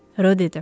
Rö dedi.